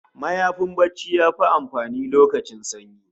Mayafin barci yafi amfani lokacin sanyi